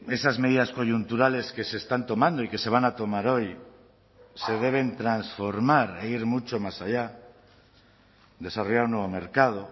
esas medidas coyunturales que se están tomando y que se van a tomar hoy se deben transformar e ir mucho más allá desarrollar un nuevo mercado